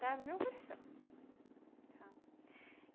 Tá no meu coração. Tá